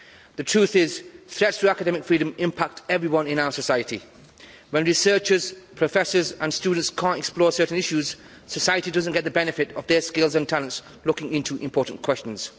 The truth is, threats to academic freedom impact everyone in our society, when researchers, professors and students can't explore certain issues, society doesn't get the benefit of their skills and talents looking into important questions.